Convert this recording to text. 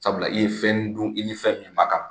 Sabula i ye fɛn dun i ni fɛn min ma kan.